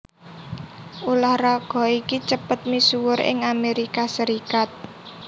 Ulah raga iki cepet misuwur ing Amerika Serikat